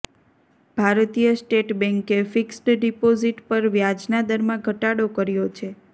ભારતીય સ્ટેટ બેન્કે fixed deposit પર વ્યાજના દરમાં ઘટાડો કર્યો છે